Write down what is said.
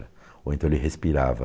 Ou então ele respirava.